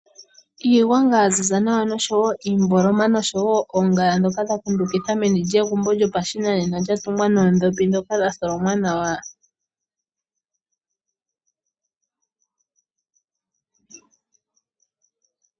Iigwanga ya ziza nawa oshowo iimboloma noshowo oongala dhoka dhakundukidha megumbo lyoshinanena lya tungwa noondhopi dha tholonwa nawa.